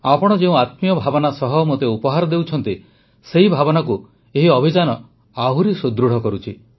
ଆପଣ ଯେଉଁ ଆତ୍ମୀୟ ଭାବନା ସହ ମୋତେ ଉପହାର ଦେଉଛନ୍ତି ସେହି ଭାବନାକୁ ଏହି ଅଭିଯାନ ଆହୁରି ସୁଦୃଢ଼ କରୁଛି